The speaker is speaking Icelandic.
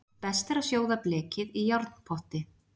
Best er að sjóða blekið í járnpotti.